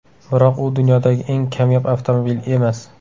Biroq u dunyodagi eng kamyob avtomobil emas.